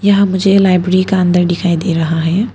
यहां मुझे लाइब्रेरी का अंदर दिखाई दे रहा है।